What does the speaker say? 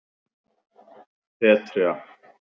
Petrea